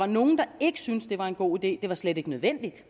nogen der ikke syntes at det var en god idé det var slet ikke nødvendigt